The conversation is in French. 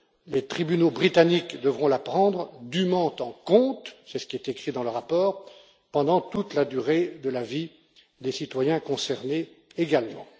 Les tribunaux britanniques devront la prendre dûment en compte c'est ce qui est écrit dans le rapport pendant toute la durée de la vie des citoyens concernés également.